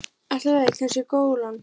Allt í lagi, kannski golan.